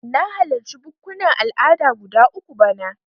Na halarci bukkunan al'ada guda uku bana.